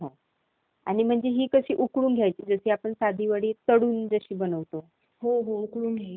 Tamil Nadu university त्यावर एक app develop केली आहे तर त्याचबरोबर मी आपला प्लॉट तयार करायचा विचार करतो आहे.